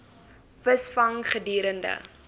vis gevang gedurende